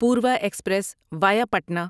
Purva express via Patna